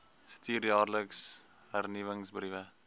stuur jaarliks hernuwingsbriewe